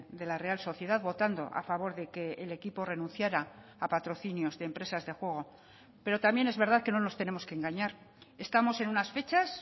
de la real sociedad votando a favor de que el equipo renunciara a patrocinios de empresas de juego pero también es verdad que no nos tenemos que engañar estamos en unas fechas